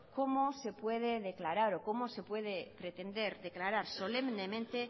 cómo se puede declarar o cómo se puede pretender declarar solemnemente